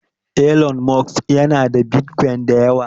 Elon Musk yana da Bitcoin da yawa.